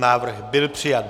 Návrh byl přijat.